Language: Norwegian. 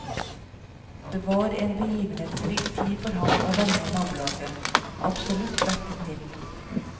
Det var en begivenhetsrik tid for ham og vennene i nabolaget, absolutt verd en film.